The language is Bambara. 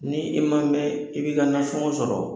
Ni i ma mɛɛn, i bɛ ka nasɔngɔ sɔrɔ